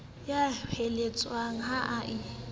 ya hoeletsang he e i